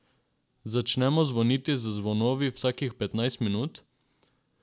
Začnemo zvoniti z zvonovi vsakih petnajst minut?